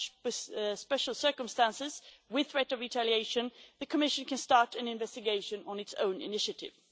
In such special circumstances, with a threat of retaliation, the Commission can start an investigation on its own initiative.